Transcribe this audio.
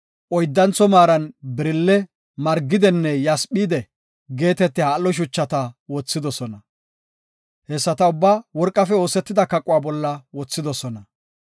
oyddantho maaran birille, margidenne yasphide geetetiya al7o shuchata wothidosona. Hessata ubbaa worqafe oosetida kaquwa bolla wothidosona.